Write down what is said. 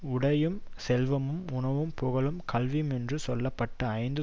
உடையும் செல்வமும் உணவும் புகழும் கல்வியுமென்று சொல்ல பட்ட ஐந்தும்